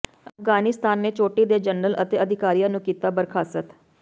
ਅਫਗਾਨਿਸਤਾਨ ਨੇ ਚੋਟੀ ਦੇ ਜਨਰਲ ਅਤੇ ਅਧਿਕਾਰੀਆਂ ਨੂੰ ਕੀਤਾ ਬਰਖਾਸਤ